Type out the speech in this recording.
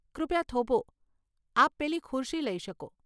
કૃપયા થોભો, આપ પેલી ખુરશી લઇ શકો.